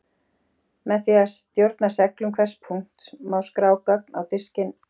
Með því að stjórna seglun hvers punkts má skrá gögn á diskinn.